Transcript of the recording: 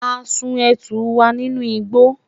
a sùn etu wa ninú igbo